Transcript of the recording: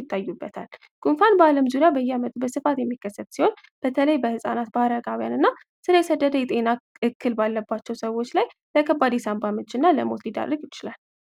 ይታዩበታል ጉንፋን በዓለም ዙሪያ በየዓመቱ በስፋት የሚከሰት ሲሆን በተለይ በህጻናት ባረጋውያን እና ባለባቸው ሰዎች ላይ ለሞት ሊዳርግ ይችላሉ